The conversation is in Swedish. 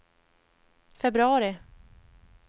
februari